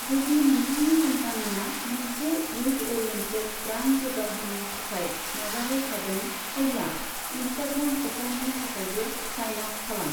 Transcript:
जुदि नोंथांनि कम्पानिया मोनसे इयुथ अ'रियेन्टेद ब्रान्ड जौगाहोनो थाखाय नाजाबाय थादों, अब्ला इनस्टाग्राम एकाउन्टनि थाखायबो साइन आप खालाम।